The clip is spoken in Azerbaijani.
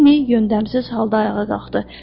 Linni yöndəmsiz halda ayağa qalxdı.